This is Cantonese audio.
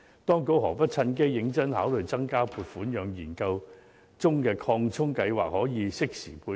當局何不趁機認真考慮增加撥款，讓研究中的擴充計劃可適時配合。